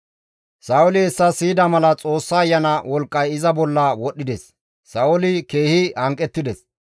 Sa7ooli hessa siyida mala Xoossa Ayana wolqqay iza bolla wodhides; Sa7ooli keehi hanqettides.